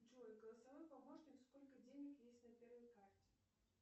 джой голосовой помощник сколько денег есть на первой карте